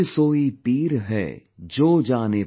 कबीरसोईपीरहै, जोजानेपरपीर |